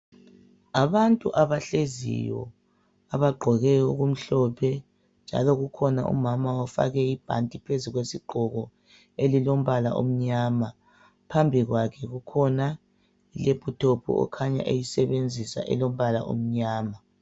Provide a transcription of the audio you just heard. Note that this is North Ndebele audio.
Abantu abahleziyo, abagqoke okumhlophe, njalo kukhona umama ofake ibhanti phezu kwesigqoko, elilombala omnyama. Phambi kwakhe kukhona ilephuthophu kukhanya eyisebenzisa elombala omnyama.